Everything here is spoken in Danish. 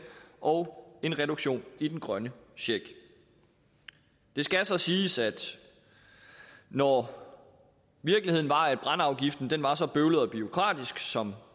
og en reduktion i den grønne check det skal så siges at når virkeligheden var at brændeafgiften var så bøvlet og bureaukratisk som